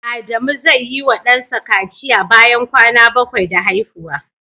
Adamu zai yi wa dansa kaciya bayan kwana 7 da haihuwa.